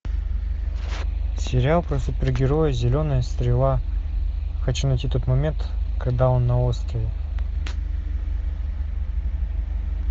сериал про супер героя зеленая стрела хочу найти тот момент когда он на острове